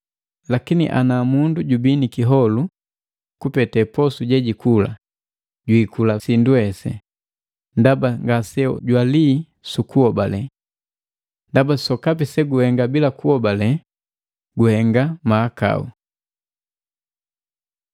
Lakini ana mundu jubi ni kiholu kupete posu jejukula, jwiikula sindu hesi, ndaba ngase jwalii sukuhobale. Ndaba sokapi se guhengeka bila kuhobale guhenga mahakau.